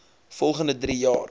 volgende drie jaar